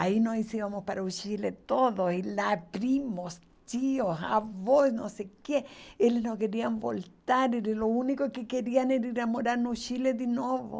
Aí nós íamos para o Chile todo, e lá primos, tios, avós, não sei o quê, eles não queriam voltar, o único que queriam era ir morar no Chile de novo.